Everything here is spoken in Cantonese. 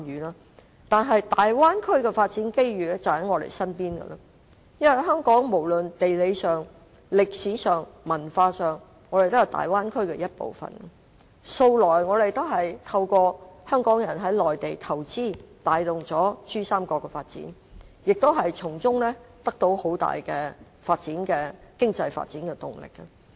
然而，大灣區的發展機遇就在我們身邊，因為無論地理、歷史、文化上，香港也是大灣區的一部分，向來也透過香港人在內地投資，帶動珠三角的發展，亦從中得到很大的經濟發展動力。